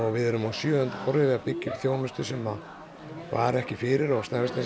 við erum á sjöunda ári við að byggja upp þjónustu sem að var ekki fyrir á Snæfellsnesi